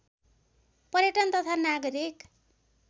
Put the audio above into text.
पर्यटन तथा नागरिक